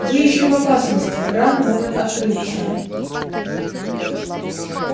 вы ещё в опасности рана может открыться